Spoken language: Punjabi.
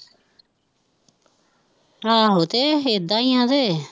ਆਹੋ ਤੇ ਏਦਾਂ ਹੀ ਫੇਰ